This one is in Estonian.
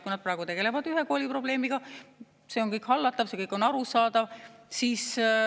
Kui nad praegu tegelevad ühe kooli probleemidega, siis see on kõik hallatav, see kõik on arusaadav.